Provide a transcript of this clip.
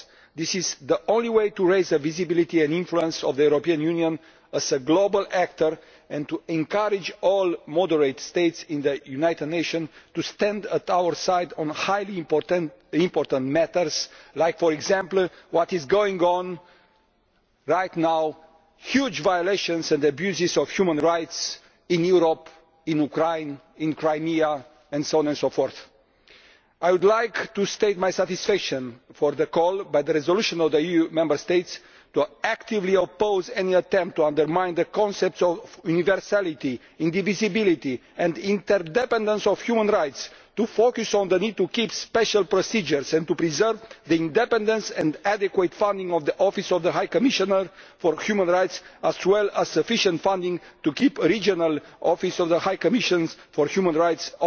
This is the only way to raise the visibility and influence of the European Union as a global actor and to encourage all moderate states in the United Nations to stand at our side on highly important matters like, for example, what is going on right now huge violations and abuses of human rights in Europe in Ukraine and in Crimea. I would like to state my satisfaction at the call in the resolution on the EU Member States to actively oppose any attempt to undermine the concepts of universality, indivisibility and interdependence of human rights, to focus on the need to keep special procedures and to preserve the independence and adequate funding of the Office of the High Commissioner for Human Rights, as well as sufficient funding to keep regional offices of the High Commissioner for Human Rights